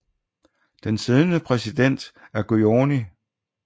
Den siddende præsident er Guðni Th